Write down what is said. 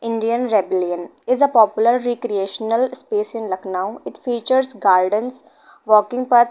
indian rebellion is a popular recreational space in lucknow it features garden walking paths --